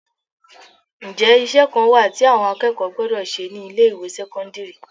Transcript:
Ǹjẹ́ iṣẹ́ kan wà tí àwọn akẹ́kọ̀ọ́ gbọ́dọ̀ ṣe ni ilé ìwé sẹ́kọ́ńdírì?